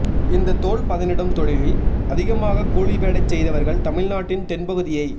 இந்த தோல்பதனிடும் தொழிலில் அதிகமாகக் கூலி வேலைச் செய்தவர்கள் தமிழ் நாட்டின் தென்பகுதியைச்